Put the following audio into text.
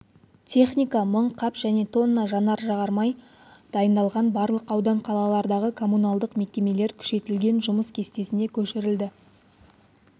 техника мың қап және тонна жанар-жағармай дайындалған барлық аудан-қалалардағы коммуналдық мекемелер күшейтілген жұмыс кестесіне көшірілді